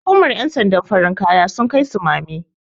hukumar yansandan farin kaya sun Kai sumame